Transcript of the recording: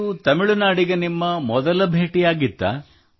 ಇದು ತಮಿಳುನಾಡಿಗೆ ನಿಮ್ಮ ಮೊದಲ ಭೇಟಿಯಾಗಿತ್ತೇ